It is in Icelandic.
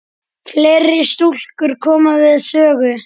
Fleiri stúlkur koma við sögu.